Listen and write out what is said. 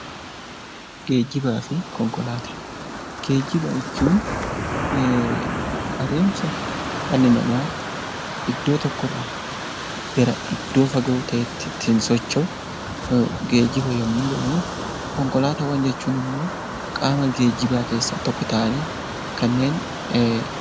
Geejjiba jechuun adeemsa dhalli namaa iddoo tokkoo irraa gara iddoo fagoo ta'etti ittiin socho'u geejjiba yommuu jedhamu, konkolaataawwan jechuun immoo qaama geejjibaa keessaa tokko ta'anii kanneen...